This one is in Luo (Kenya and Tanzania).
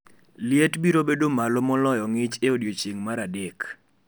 Liet biro bedo malo moloyo ng’ich e odiechieng’ mar adek